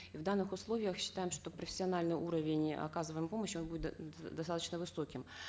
и в данных условиях считаем что профессиональный уровень оказываемой помощи он будет достаточно высоким